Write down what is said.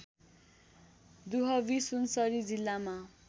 दुहवी सुनसरी जिल्लामा